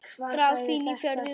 Dragfín í fjöðrum sínum.